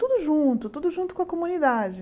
Tudo junto, tudo junto com a comunidade.